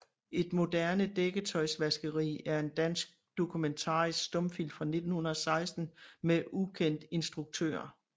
Et moderne Dækketøjsvaskeri er en dansk dokumentarisk stumfilm fra 1916 med ukendt instruktør